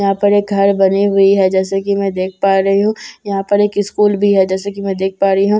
यहां पर एक घर बनी हुई है जैसे कि मैं देख पा रही हूं यहां पर एक स्कूल भी है जैसे कि मैं देख पा रही हूं।